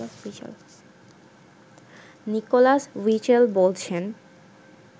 Nicolas Witchell বলছেন